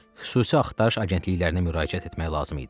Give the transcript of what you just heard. Xüsusi axtarış agentliklərinə müraciət etmək lazım idi.